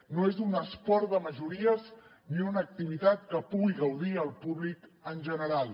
no és un esport de majories ni una activitat que pugui gaudir el públic en general